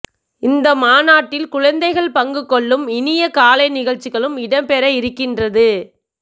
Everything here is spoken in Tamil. இந்த மாநாட்டில் குழந்தைகள் பங்குகொள்ளும் இனிய கலை நிகழ்சிகளும் இடம் பெற இருகின்றது